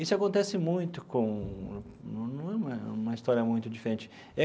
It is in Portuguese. Isso acontece muito com, não não é uma uma história muito diferente.